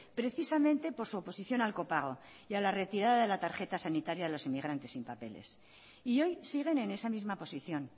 precisamente por su oposición al copago y a la retirada de la tarjeta sanitaria a los inmigrantes sin papeles y hoy siguen en esa misma posición